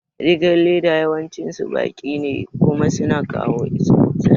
Rigar leda yawancin su baki ne kuma suna kawo zafi